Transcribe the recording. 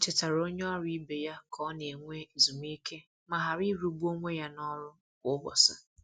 O chetara onye ọrụ ibe ya ka ọ na- enwe ezumike ma ghara ịrụ gbu onwe ya na ọrụ kwa ụbọchị.